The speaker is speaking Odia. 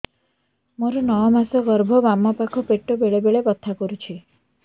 ମୋର ନଅ ମାସ ଗର୍ଭ ବାମ ପାଖ ପେଟ ବେଳେ ବେଳେ ବଥା କରୁଛି